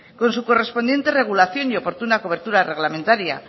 con su correspondiente regulación y oportuna cobertura reglamentaria